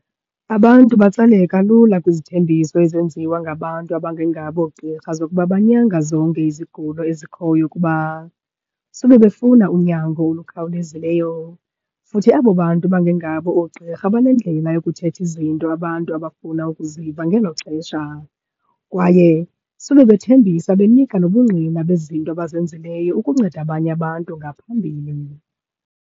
Abantu batsaleka lula kwizithembiso ezenziwa ngabantu abangengabo oogqirha zokuba banyanga zonke izigulo ezikhoyo, kuba sube befuna unyango olukhawulezileyo. Futhi abo bantu bangengabo oogqirha banendlela yokuthetha izinto abantu abafuna ukuziva ngelo xesha kwaye sube bethembisa, benika nobungqina bezinto abazenzileyo ukunceda abanye abantu ngaphambili.